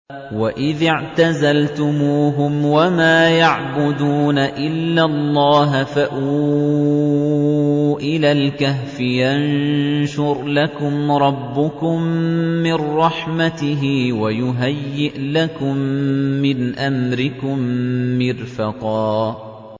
وَإِذِ اعْتَزَلْتُمُوهُمْ وَمَا يَعْبُدُونَ إِلَّا اللَّهَ فَأْوُوا إِلَى الْكَهْفِ يَنشُرْ لَكُمْ رَبُّكُم مِّن رَّحْمَتِهِ وَيُهَيِّئْ لَكُم مِّنْ أَمْرِكُم مِّرْفَقًا